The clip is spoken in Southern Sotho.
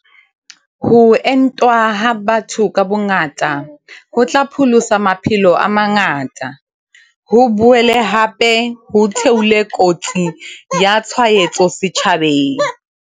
Ho entwa ha batho ka bongata, ho tla pholosa maphelo a mangata, ho boele hape ho theole kotsi ya tshwaetso setjhabeng.